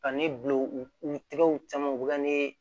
Ka ne bil'u u tɛgɛw caman ne